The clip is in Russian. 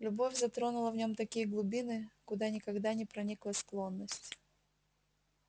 любовь затронула в нём такие глубины куда никогда не проникла склонность